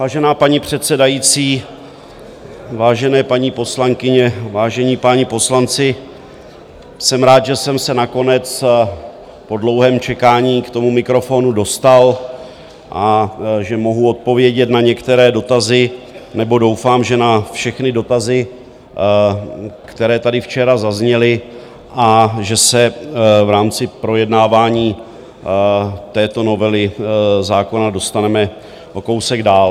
Vážená paní předsedající, vážené paní poslankyně, vážení páni poslanci, jsem rád, že jsem se nakonec po dlouhém čekání k tomu mikrofonu dostal a že mohu odpovědět na některé dotazy, nebo doufám, že na všechny dotazy, které tady včera zazněly, a že se v rámci projednávání této novely zákona dostaneme o kousek dál.